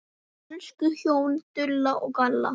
Elsku hjón, Gunnar og Dalla.